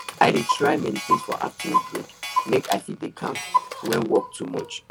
i dey try meditate for afternoon break make i fit dey calm when work too much